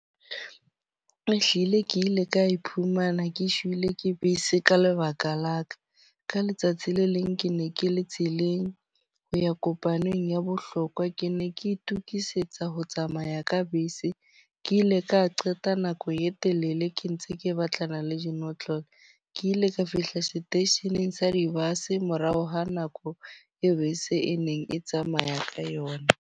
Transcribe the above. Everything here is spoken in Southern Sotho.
Ehlile ke ile ka iphumana ke sheile ke bese ka lebaka la ka. Ka letsatsi le leng ke ne ke le tseleng ho ya kopanong ya bohlokwa. Ke ne ke itokisetsa ho tsamaya ho ya ka bese. Ke ile ka qeta nako e telele ke ntse ke batlana le dinotlolo. Ke ile ka fihla seteisheneng sa di-bus morao ho nako e be se e neng e tsamaya ka yona.